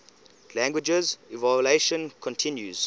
language evolution continues